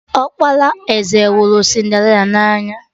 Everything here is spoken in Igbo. Ọkpara eze hụrụ Cinderịla na anya